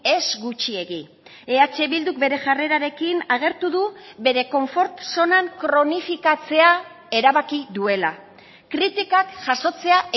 ez gutxiegi eh bilduk bere jarrerarekin agertu du bere konfort zonan kronifikatzea erabaki duela kritikak jasotzea